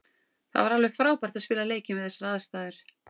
Það var alveg frábært að spila leikinn við þessar aðstæður.